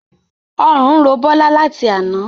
Ọrùn ń ro Bola láti àna